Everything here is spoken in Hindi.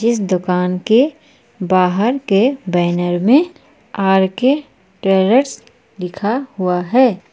इस दुकान के बाहर के बैनर में आर के ट्रेवल्स लिखा हुआ है।